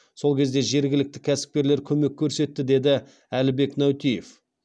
сол кезде жергілікті кәсіпкерлер көмек көрсетті деді әлібек нәутиев